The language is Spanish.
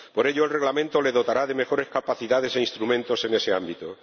Por ello, el Reglamento le dotará de mejores capacidades e instrumentos en ese ámbito.